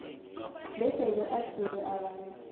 besele uthinte abantu